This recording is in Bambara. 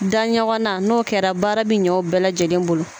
Da ɲɔgɔn na n'o kɛra baara bi ɲɛ o bɛɛ lajɛlen bolo.